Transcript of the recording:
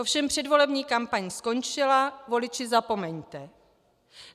Ovšem předvolební kampaň skončila - voliči, zapomeňte.